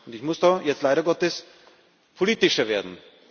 Ich muss da jetzt leider Gottes politischer werden.